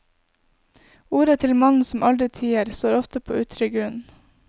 Ordet til mannen som aldri tier, står ofte på utrygg grunn.